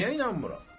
Niyə inanmıram?